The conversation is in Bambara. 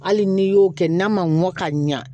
Hali n'i y'o kɛ n'a ma mɔ ka ɲa